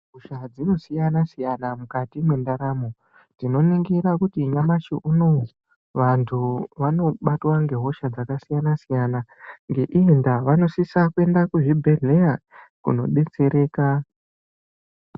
Hosha dzinosiyana-siyana mukati mwendaramo. Tinoningira kuti nyamashi unou vantu vanobatwa ngehosha dzakasiyana-siyana. Ngeiyi ndaa, vanosisa kuenda kuzvibhedhleya kunodetsereka.